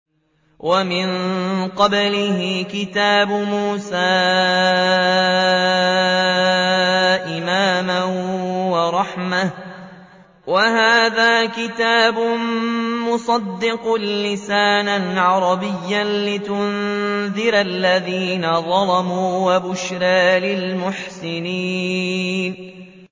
وَمِن قَبْلِهِ كِتَابُ مُوسَىٰ إِمَامًا وَرَحْمَةً ۚ وَهَٰذَا كِتَابٌ مُّصَدِّقٌ لِّسَانًا عَرَبِيًّا لِّيُنذِرَ الَّذِينَ ظَلَمُوا وَبُشْرَىٰ لِلْمُحْسِنِينَ